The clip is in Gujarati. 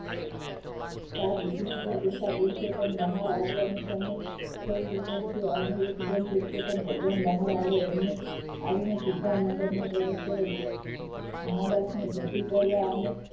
સાથ દીધો એટલે બેટા પુરુષોત્તમ બહાર આવ્યા અને એકદમ પુરુષોત્તમ ભગવાન બહાર આવ્યા એમને આવીને સીધા મંડપમાં પ્રવેશ કર્યો મા બાપને ભેટી પડ્યા અને